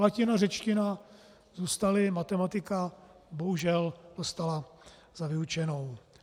Latina, řečtina zůstaly, matematika, bohužel, dostala za vyučenou.